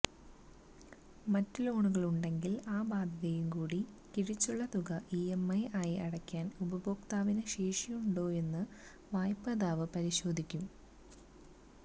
മറ്റു ലോണുകള് ഉണ്ടെങ്കില് ആ ബാധ്യതയും കൂടി കിഴിച്ചുള്ള തുക ഇഎംഐ ആയി അടയ്ക്കാന് ഉപഭോക്താവിന് ശേഷിയുണ്ടോയെന്ന് വായ്പാദാതാവ് പരിശോധിക്കും